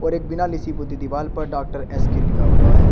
एक बिना लिसी पुती दिवाल पर डॉक्टर एस के लिखा हुआ है।